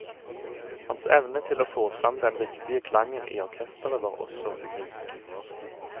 Hans evne til å få frem den riktige klangen i orkesteret var også unik.